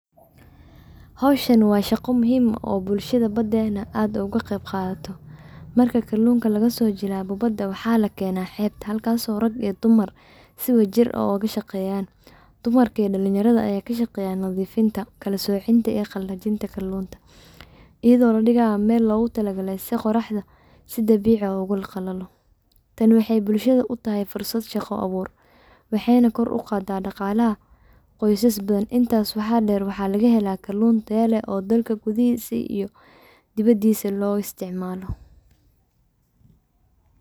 Howshan waa shaqa muhim oo bulshada badayna aad oga qeyb qadato marka kalunka lagaa so jilabo waxa la kena xebta halkaaso rag iyo dumar sii wadajir aah oga shaqeyan dumarka iyo dalinyarada aya kaa shaqeyan nadifiinta, kalasociinta iyo qalajiinta kalunta iyado la dhigayoo mel logu tala gale sii qoraxda sii dabicii aah ogu qalalo taan waxey bulshada uu tahay fursad shaqo abuur waxeyna kor uqada dhaqalaha qoysas badan intas waxa der waxa laga helaa kalun taayo leh oo dalka gudihisa iyo diwadisa loo isticmalo.